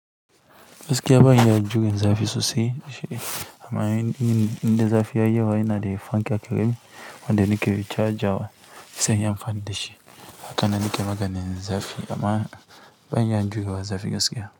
Gaskiya ban iya jure zafi sosai. Amma indan zafi ya yi waya inada fanka kenan wanda nike chajawa sai inyi amfani da shi. Hakane nake maganin zafi amma ban iya in jure wa zafi gaskiya.